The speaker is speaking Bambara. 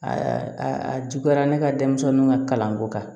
a juguyara ne ka denmisɛnninw ka kalanko kan